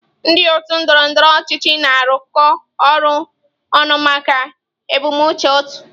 Ndị otu ndọrọ ndọrọ ọchịchị na-arụkọ ọrụ ọnụ maka ebumnuche otu.